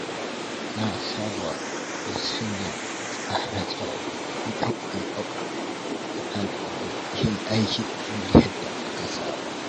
Na saba da sanya tsare-tsare idan wani abu ya hanani yin aikin kamar yadda aka saba.